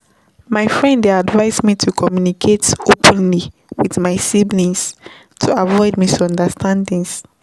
My friend dey advise me to communicate openly with my siblings to avoid misunderstandings.